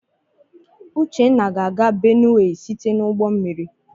Uchenna ga-aga Benue site n'ụgbọmmiri.